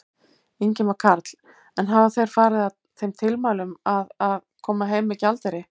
Ingimar Karl: En hafa þeir farið að þeim tilmælum að, að, koma heim með gjaldeyri?